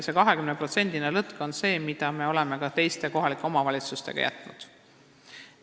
Selle 20%-lise lõtku me oleme ka teistele kohalikele omavalitsustele jätnud.